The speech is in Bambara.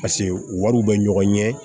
Paseke wariw bɛ ɲɔgɔn ɲɛ